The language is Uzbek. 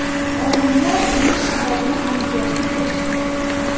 Olimlar buning sababini aniqlashga kirishdi.